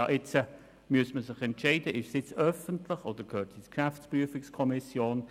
Aus meiner Sicht müsste man sich entscheiden, ob diese nun öffentlich oder der GPK zur Kenntnis gebracht werden sollen.